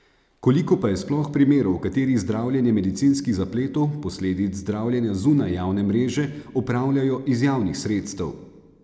Koliko pa je sploh primerov, v katerih zdravljenje medicinskih zapletov, posledic zdravljenja zunaj javne mreže, opravljajo iz javnih sredstev?